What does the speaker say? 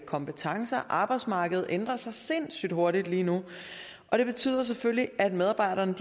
kompetencer arbejdsmarkedet ændrer sig sindssyg hurtigt lige nu og det betyder selvfølgelig at medarbejderne